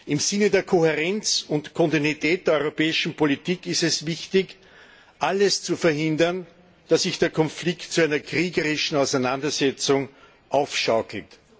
Im Sinne der Kohärenz und Kontinuität der europäischen Politik ist es wichtig, alles zu tun, um zu verhindern, dass sich der Konflikt zu einer kriegerischen Auseinandersetzung aufschaukelt.